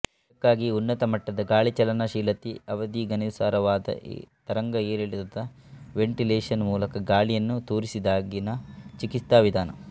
ಇದಕ್ಕಾಗಿ ಉನ್ನತ ಮಟ್ಟದ ಗಾಳಿ ಚಲನಶೀಲತೆ ಅವಧಿಗನುಸಾರವಾದ ತರಂಗಏರಿಳಿತ ದ ವೆಂಟಿಲೇಶನ್ ಮೂಲಕ ಗಾಳಿಯನ್ನು ತೂರಿಸಿದಾಗಿನ ಚಿಕಿತ್ಸಾ ವಿಧಾನ